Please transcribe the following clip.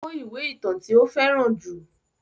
Ó kó ìwé ìtàn tí ó fẹ́ràn jù.